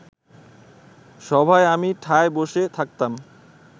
সভায় আমি ঠায় বসে থাকতাম